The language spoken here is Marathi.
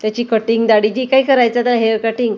त्याची कटिंग दाढी जी काय करायची आहे आता हेयर कटिंग --